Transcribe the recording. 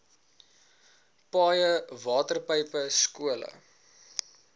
paaie waterpype skole